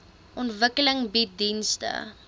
ontwikkeling bied dienste